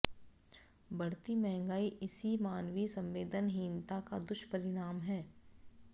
बढ़ती महंगाई इसी मानवीय संवेदनहीनता का दुष्परिणाम है